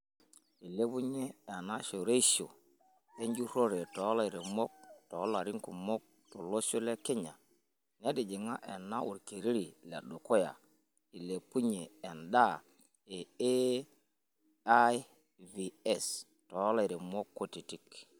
Eilepunyie enashoreisho enjurore tolairemok tolarin kumok tolosho lekenya, netijinga ena olkereri ledukuya eilepunyie endaa e AIVs tolairemok kutiti.